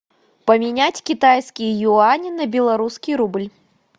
поменять китайские юани на белорусский рубль